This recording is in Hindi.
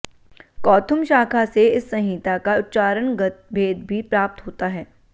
कौथुम शाखा से इस संहिता का उच्चारणगत भेद भी प्राप्त होता है